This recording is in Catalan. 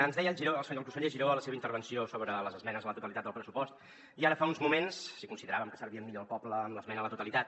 ens deia el conseller giró a la seva intervenció sobre les esmenes a la totalitat del pressupost i ara fa uns moments si consideràvem que servíem millor el poble amb l’esmena a la totalitat